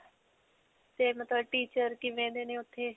ਤੇ ਮਤਲਬ teacher ਕਿਵੇਂ ਦੇ ਨੇ ਓੱਥੇ?